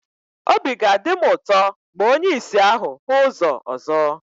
Obi ga-adị m ụtọ ma onye ìsì ahụ hụ ụzọ ọzọ.